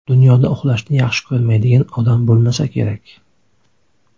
Dunyoda uxlashni yaxshi ko‘rmaydigan odam bo‘lmasa kerak.